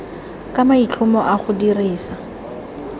ka maitlhomo a go dirisa